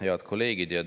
Head kolleegid!